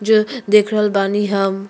जो देख रहल बानी हम।